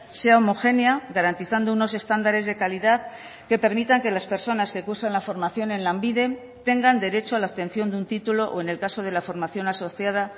sea homogénea garantizando unos estándares de calidad que permitan que las personas que cursan la formación en lanbide tengan derecho a la obtención de un título o en el caso de la formación asociada